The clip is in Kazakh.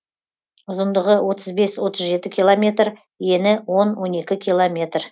ұзындығы отыз бес отыз жеті километр ені он он екі километр